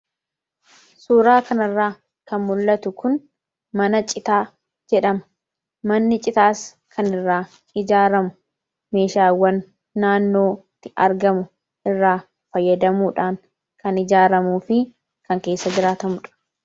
Suuraa kanarraa kan mul'atu kun, mana citaa jedhama. Manni citaas kan irraa ijaaramu, meeshaawwan naannootti argamu irraa fayyadamuudhaan kan ijaaramuufi kan keessa jiraatamuudha.